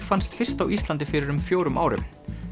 fannst fyrst á Íslandi fyrir um fjórum árum